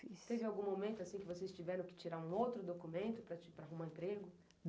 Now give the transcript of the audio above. Teve algum momento que vocês tiveram que tirar um outro documento para arrumar emprego?